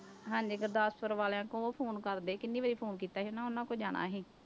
ਹਾਂਜੀ ਗੁਰਦਾਸਪੁਰ ਵਾਲਿਆਂ ਕੋਲ ਉਹ phone ਕਰਦੇ ਕਿੰਨੀ ਵਾਰੀ phone ਕੀਤਾ ਸੀ ਹਨਾ ਉਹਨਾਂ ਕੋਲ ਜਾਣਾ ਅਸੀਂ।